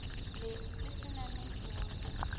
le le se nametšego se